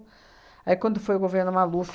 Aí, quando foi o governo Maluf,